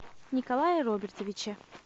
николае робертовиче